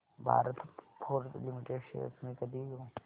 Bharat Forge Limited shares मी कधी घेऊ